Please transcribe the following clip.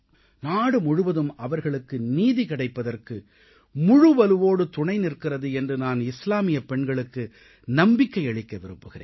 நாடு முழுவதும் அவர்களுக்கு நீதி கிடைப்பதற்கு முழு மனதோடு துணை நிற்கிறது என்று நான் இஸ்லாமிய பெண்களுக்கு நம்பிக்கையளிக்க விரும்புகிறேன்